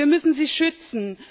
Wir müssen sie schützen.